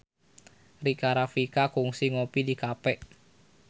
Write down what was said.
Rika Rafika kungsi ngopi di cafe